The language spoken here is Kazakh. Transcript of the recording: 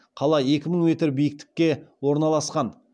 қала екі мың метр биіктікке орналасқан